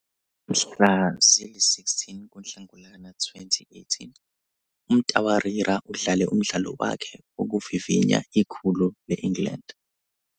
Mhla zili-16 kuNhlangulana 2018, uMtawarira udlale umdlalo wakhe wokuvivinya ikhulu le-England.